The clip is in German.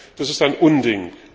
Das ist ein Unding!